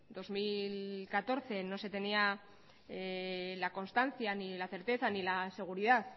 dos mil catorce no se tenía la constancia ni la certeza ni la seguridad